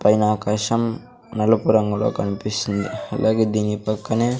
పైన ఆకాశం నలుపు రంగులో కన్పిస్తుంది అలాగే దీని పక్కనే--